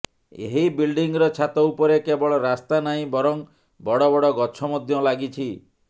ଏହି ବିଲ୍ଡିଂର ଛାତ ଉପରେ କେବଳ ରାସ୍ତା ନାହିଁ ବରଂ ବଡ଼ ବଡ଼ ଗଛ ମଧ୍ୟ ଲାଗିଛି